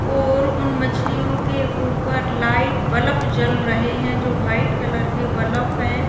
और वह उन मछलियों के ऊपर लाइट बल्ब जल रहे हैं जो वाइट कलर के बलफ हैं।